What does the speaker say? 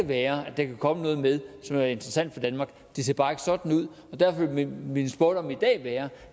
være at der kan komme noget med som kan være interessant for danmark det ser bare ikke sådan ud og derfor vil min spådom i dag være